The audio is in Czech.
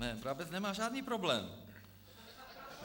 Ne, Brabec nemá žádný problém.